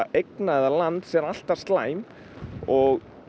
eigna eða lands er alltaf slæm